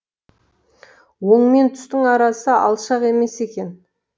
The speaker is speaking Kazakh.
өң мен түстің арасы алшақ емес екен